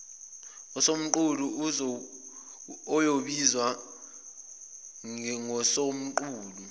usomqulu oyobizwa ngosomqulu